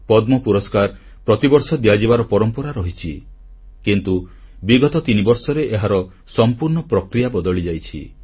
ପଦ୍ମ ପୁରସ୍କାର ପ୍ରତିବର୍ଷ ଦିଆଯିବାର ପରମ୍ପରା ରହିଛି କିନ୍ତୁ ବିଗତ ତିନିବର୍ଷରେ ଏହାର ସଂପୂର୍ଣ୍ଣ ପ୍ରକ୍ରିୟା ବଦଳିଯାଇଛି